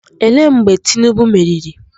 Ele mgbe Tinubu meriri?